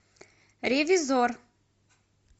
ревизор